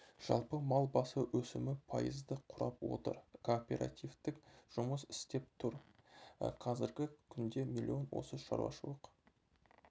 жалпы мал басы өсімі пайызды құрап отыр кооперативтің жұмыс істеп тұр қазіргі күнде миллион осы шаруашылық